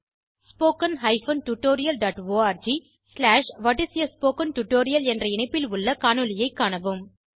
httpspoken tutorialorg What is a Spoken Tutorial என்ற இணைப்பில் உள்ள காணொளியை காணவும்